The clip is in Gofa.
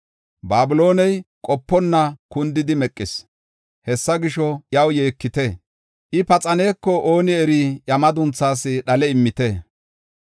Babilooney qoponna kundidi meqis. Hessa gisho, iyaw yeekite; I paxaneko ooni eri iya madunthaas dhale immite.